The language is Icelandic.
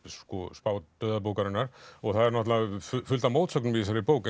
spá dauða bókarinnar og það er fullt af mótsögnum í þessari bók